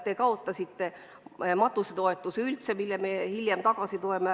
Te kaotasite matusetoetuse, mille me hiljem taastasime.